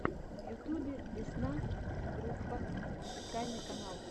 в ютьюбе весна группа официальный канал